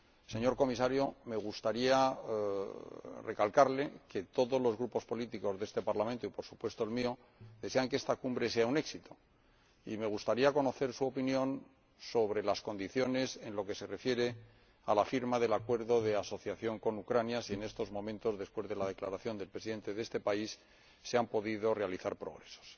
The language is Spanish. Señor Comisario, me gustaría recalcarle que todos los grupos políticos de este Parlamento, y, por supuesto, el mío, desean que esta Cumbre sea un éxito y me gustaría saber, en lo que se refiere a la firma del Acuerdo de Asociación con Ucrania, si en estos momentos, después de la declaración del Presidente de este país, se han podido realizar progresos.